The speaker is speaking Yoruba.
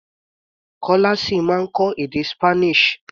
Kọ́lá ṣì máa kọ́ èdè Spanish.